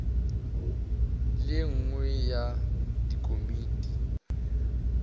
le ye nngwe ya dikomiti